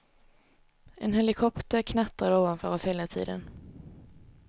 En helikopter knattrade ovanför oss hela tiden.